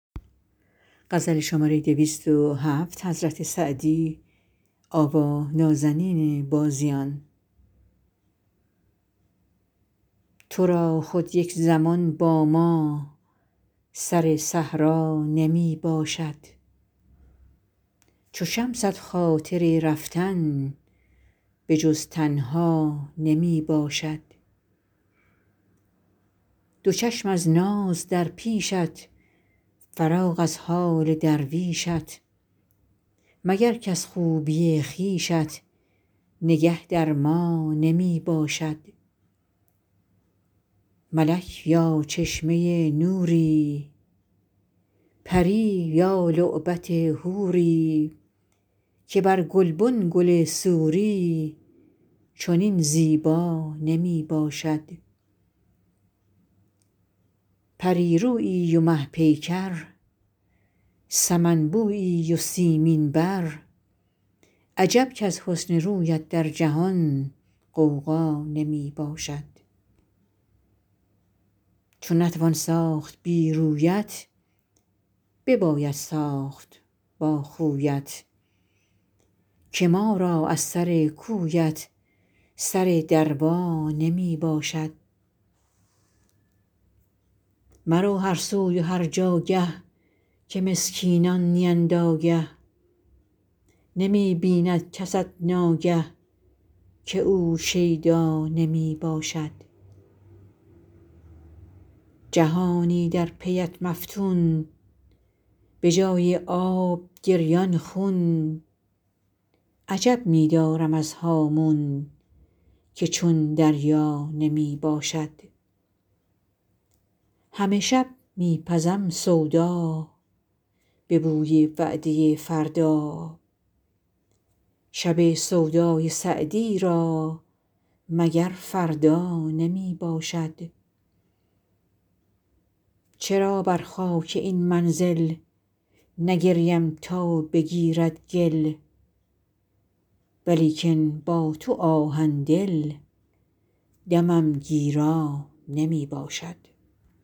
تو را خود یک زمان با ما سر صحرا نمی باشد چو شمست خاطر رفتن به جز تنها نمی باشد دو چشم از ناز در پیشت فراغ از حال درویشت مگر کز خوبی خویشت نگه در ما نمی باشد ملک یا چشمه نوری پری یا لعبت حوری که بر گلبن گل سوری چنین زیبا نمی باشد پری رویی و مه پیکر سمن بویی و سیمین بر عجب کز حسن رویت در جهان غوغا نمی باشد چو نتوان ساخت بی رویت بباید ساخت با خویت که ما را از سر کویت سر دروا نمی باشد مرو هر سوی و هر جاگه که مسکینان نیند آگه نمی بیند کست ناگه که او شیدا نمی باشد جهانی در پی ات مفتون به جای آب گریان خون عجب می دارم از هامون که چون دریا نمی باشد همه شب می پزم سودا به بوی وعده فردا شب سودای سعدی را مگر فردا نمی باشد چرا بر خاک این منزل نگریم تا بگیرد گل ولیکن با تو آهن دل دمم گیرا نمی باشد